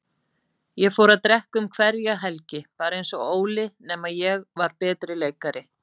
Ég fór að drekka um hverja helgi, bara einsog Óli, nema ég var betri leikari.